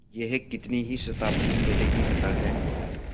यह कितनी ही शताब्दियों पहले की कथा है